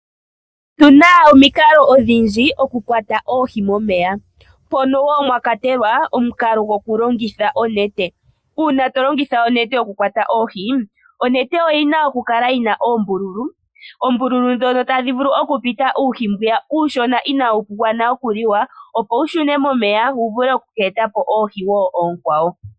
Otu na omikalo odhindji okukwata oohi momeya, mpono woo mwa kwatelwa omukalo gokulongitha onete. Uuna to longitha onete okukwata oohi, onete oyi na okukala yi na oombululu ndhono tadhi vulu okupita uuhi mbono uushona inaa wugwana oku li wa opo wushune momeya wu vule oku eta po oonkwawo.